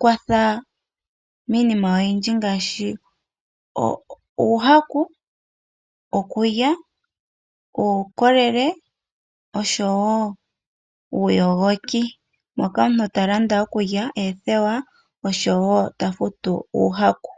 kwatha miinima oyindji ngaashi uuhaku, okulya uukolele nosho wo uuyogoki. Moka omuntu ta landa okulya, oothewa osho wo ta futu uuhaku.